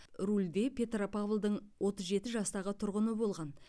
рульде петропавлдың отыз жеті жастағы тұрғыны болған